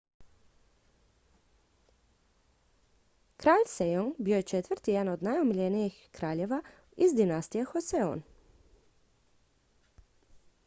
kralj sejong bio je četvrti i jedan od najomiljenijih kraljeva iz dinastije joseon